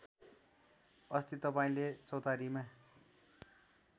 अस्ति तपाईँले चौतारीमा